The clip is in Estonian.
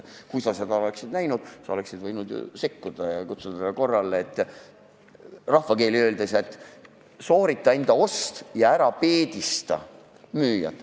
Kui sa seda nägid, siis sa oleksid võinud ju sekkuda ja kutsuda teda korrale, rahvakeeli öeldes: "Soorita enda ost ja ära peedista müüjat."